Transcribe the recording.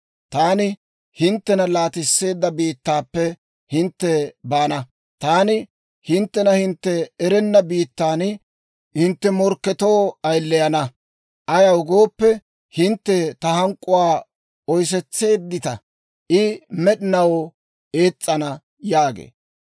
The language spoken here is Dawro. Taani hinttena laatisseedda biittaappe hintte baana; taani hinttena hintte erenna biittan hintte morkketoo ayileyana. Ayaw gooppe, hintte ta hank'k'uwaa oysetseeddita; I med'inaw ees's'ana» yaagee.